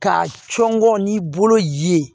K'a cɔngɔ n'i bolo ye